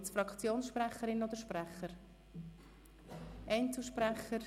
Gibt es hierzu Fraktionssprecherinnen oder Fraktionssprecher? – Oder Einzelsprecher?